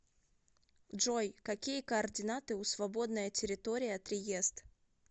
джой какие координаты у свободная территория триест